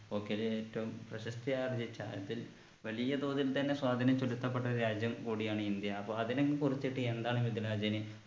hockey യിൽ ഏറ്റവും പ്രശസ്തി ആർജിച്ച അതിൽ വലിയ തോതിൽ തന്നെ സ്വാധീനം ചെലുത്തപ്പെട്ട രാജ്യം കൂടിയാണ് ഇന്ത്യ അപ്പൊ അതിനെ കുറിച്ചിട്ട് എന്താണ് മിദിലാജിന്